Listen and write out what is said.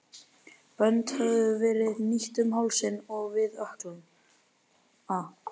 Bönd höfðu verið hnýtt um hálsinn og við ökklana.